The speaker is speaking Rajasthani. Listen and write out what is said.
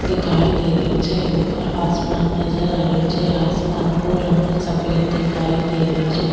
दिखाई दे रो छ ऊपर आसमान नजर आ रहियो छे आसमान को रंग सफ़ेद दिखाई दे रो छे।